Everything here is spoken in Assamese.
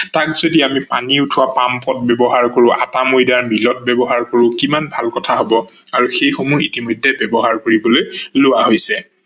তাক যদি আমি পানী উঠোৱা পাম্পত ব্যৱহাৰ কৰো, আটা-মইডা মিলত ব্যৱহাৰ কৰো কিমান ভাল কথা হব আৰু এইসমূহ ইতিমধ্যে ব্যৱহাৰ কৰিবলৈ লোৱা হৈছে।